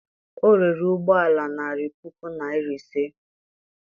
o rere ụgbọ ala narị puku naịra ise